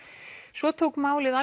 svo tók málið